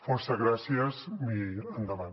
fòrça gràcies i endavant